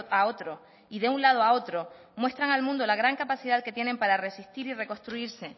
a otro y de un lado a otro muestran al mundo la gran capacidad que tienen para resistir y reconstruirse